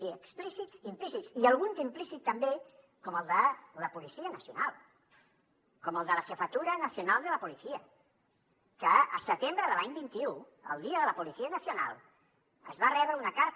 i explícits i implícits i algun d’implícit també com el de la policia nacional com el de la jefatura nacional de la policía que el setembre de l’any vint un el dia de la policía nacional es va rebre una carta